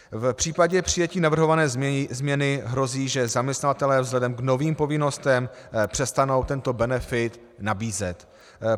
V případě přijetí navrhované změny hrozí, že zaměstnavatelé vzhledem k novým povinnostem přestanou tento benefit nabízet.